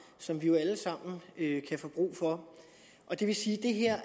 som vi jo alle sammen kan få brug for det vil sige at det her